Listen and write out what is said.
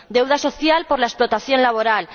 deuda social por la explotación laboral